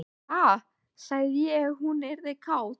Ha, sagði ég að hún yrði kát?